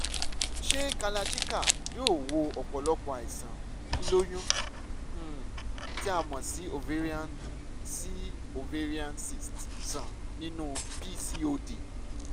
ṣé kalarchikai yóò wo ọ̀pọ̀lọpọ̀ àìsàn lílóyún um tí a mọ̀ sí ovarian sí ovarian cysts sàn nínú pcod?